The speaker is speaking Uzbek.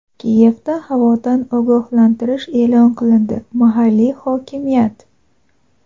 Kiyevda havodan ogohlantirish e’lon qilindi – mahalliy hokimiyat.